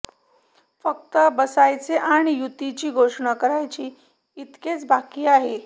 फक्त बसायचे आणि युतीची घोषणा करायची इतकेच बाकी आहे